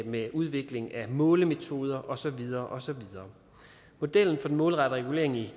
med udviklingen af målemetoder og så videre og så videre modellen for den målrettede regulering i